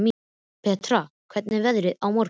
Bertha, hvernig verður veðrið á morgun?